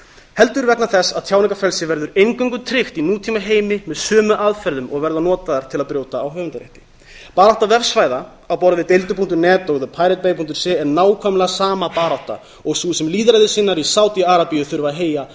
heldur vegna þess að tjáningarfrelsi verður eingöngu tryggt í nútímaheimi með sömu aðferðum og verða notaðar til að brjóta á höfundarétti barátta vefsvæða á borð við deildi punktur net og thepiratese er nákvæmlega sama barátta og sú sem lýðræðissinnar í sádi arabíu þurfa að heyja